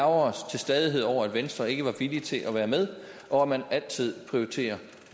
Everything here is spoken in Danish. os til stadighed over at venstre ikke var villig til at være med og at man altid prioriterer